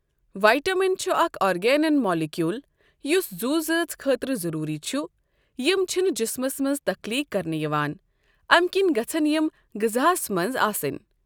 Vitamin چھُ اَکھ arginine molecule یُس زو زٲژ خٲطرٕ ضروری چھُ یِم چھِنہٕ جِسمَس مَنٛز تَخلیٖق کَرنہٕ یِوان اَمہِ کِن گَژھَن یِم غزاہس مَنٛز آسٕنؠ۔